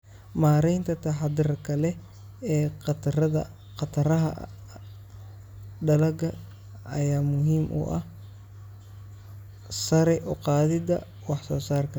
Maareynta taxadarka leh ee khataraha dalagga ayaa muhiim u ah sare u qaadida wax-soo-saarka.